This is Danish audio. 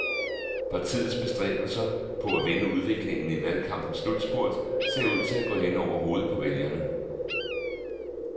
Partiets bestræbelser på at vende udviklingen i valgkampens slutspurt ser ud til at gå hen over hovedet på vælgerne.